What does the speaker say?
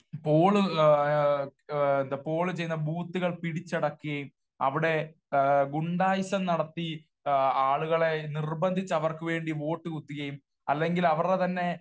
Paul എന്താ poll ചെയ്യുന്ന ബൂത്തുകൾ പിടിച്ചടക്കുകയും അവിടെ ഗുണ്ടായിസം നടത്തി ആളുകളെ നിർബന്ധിച്ച് ആവർക്ക് വേണ്ടി വോട്ട് കുത്തിക്കുകയും അല്ലെങ്കിൽ അവരുടെ തന്നെ